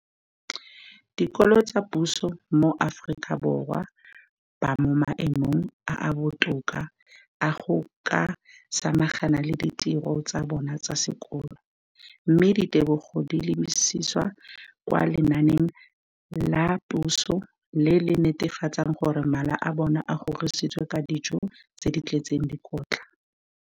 Dikolo tsa puso mo Aforika Borwa ba mo maemong a a botoka a go ka samagana le ditiro tsa bona tsa sekolo, mme ditebogo di lebisiwa kwa lenaaneng la puso le le netefatsang gore mala a bona a kgorisitswe ka dijo tse di tletseng dikotla.